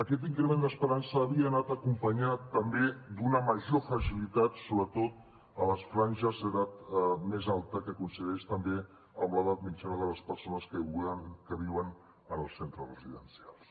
aquest increment d’esperança havia anat acompanyat també d’una major fragilitat sobretot a les franges d’edat més alta que coincideix també amb l’edat mitjana de les persones que viuen en els centres residencials